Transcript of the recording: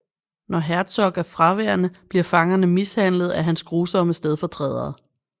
Når Herzog er fraværende bliver fangerne mishandlet af hans grusomme stedfortrædere